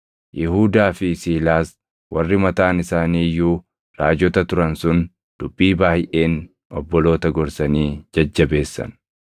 Yihuudaa fi Siilaas warri mataan isaanii iyyuu raajota turan sun dubbii baayʼeen obboloota gorsanii jajjabeessan.